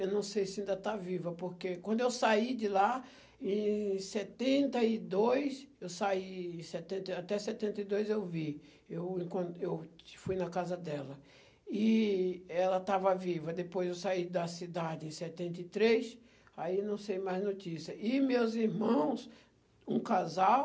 eu não sei se ainda está viva, porque quando eu saí de lá, em setenta e dois, eu saí, em setenta, até setenta e dois eu vi, eu quando, eu fui na casa dela, e ela estava viva, depois eu saí da cidade em setenta e três, aí não sei mais notícia, e meus irmãos, um casal,